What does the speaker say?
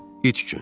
İt üçün.